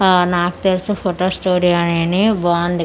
అహ్ నాకు తెలిసి ఫోటో స్టూడియో అనేని బాగుంది.